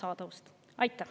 Aitäh!